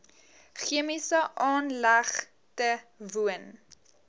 chemiese aanlegte woon